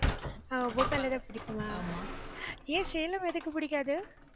ஆஹ் bhopal ல தான் பிடிக்குமா ஏன் சேலம் எதுக்கு பிடிக்காது